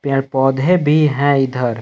पेड़ पौधे भी हैं इधर।